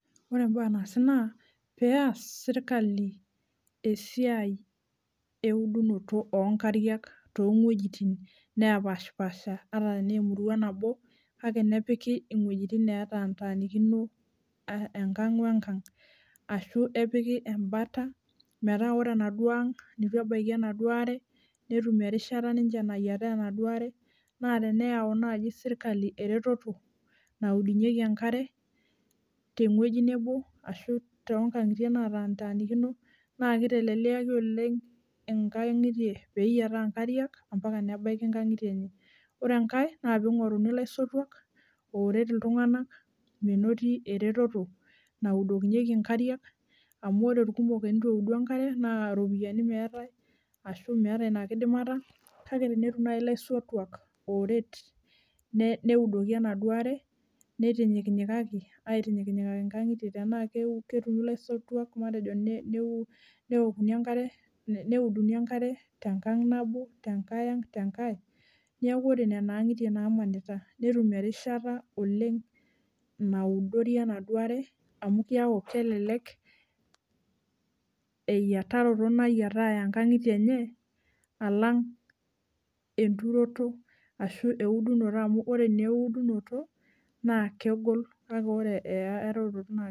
Ore mbaa naasi na oeas serkalibm esiai eudoto onkariak atanm anaa wuejitin natanikino enkang wenkang ashubm epiki enkalo metaa ore enaduo aang nituetum enkare netum ateyietu enaduo aare na tenyau nai serkali esiai naudunye enkare na kitelelek eyietunoto enkare ometabai erishata enye ore enkae na pingoruni laisotuak amu ore irkumok tenitueudi enkare ba ropiyani meetai ashubmeeta inakidimata kake tenetum nai laisotuak oudoki enkare nitinyikaki nkangitie neokuni neuduni enkarebneaku ore nona angitie nataanikita netum erishata nayietare enare amu keaku kelelek eyiataroto ashu eudunoto na kegol kake ore eyaroto na.